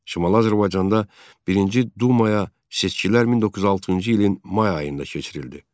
Şimali Azərbaycanda birinci Dumaya seçkilər 1906-cı ilin may ayında keçirildi.